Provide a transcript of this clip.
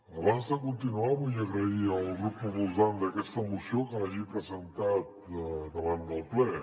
abans de continuar vull agrair al grup proposant d’aquesta moció que l’hagi presentat davant del ple